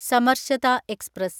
Samarasata express